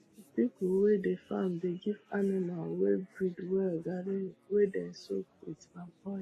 people wey dey farm dey give animal wey breed well garri wey dem soak wit palm oil